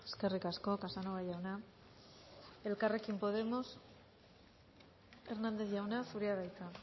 eskerrik asko casanova jauna elkarrekin podemos hernández jauna zurea da hitza